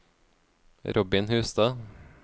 Robin Hustad